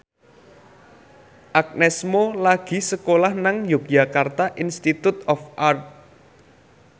Agnes Mo lagi sekolah nang Yogyakarta Institute of Art